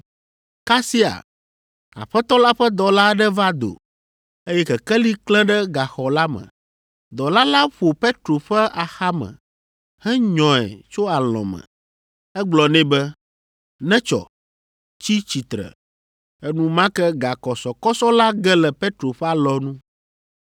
Kasia Aƒetɔ la ƒe dɔla aɖe va do, eye Kekeli klẽ ɖe gaxɔ la me. Dɔla la ƒo Petro ƒe axame henyɔe tso alɔ̃ me. Egblɔ nɛ be, “Netsɔ, tsi tsitre!” Enumake gakɔsɔkɔsɔ la ge le Petro ƒe alɔnu.